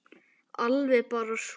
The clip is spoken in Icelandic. Alveg bara súr